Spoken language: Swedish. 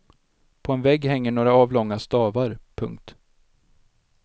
På en vägg hänger några avlånga stavar. punkt